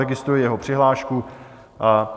Registruji jeho přihlášku.